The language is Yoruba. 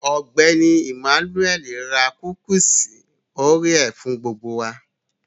Ọgbẹ́ni Emmanuel rà kúkúṣí oréà fún gbogbo wà.